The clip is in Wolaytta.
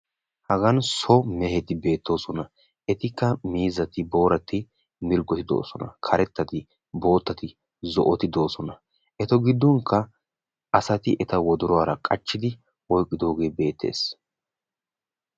Hagan so mehetti beettoosnna qassikka miizzattinne booratti beettosonna. Qassikka qachchi wottin maataa moosonna.